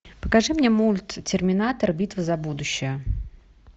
покажи мне мульт терминатор битва за будущее